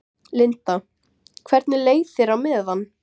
Linda: Hvernig leið þér á meðan?